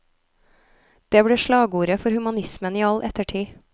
Det ble slagordet for humanismen i all ettertid.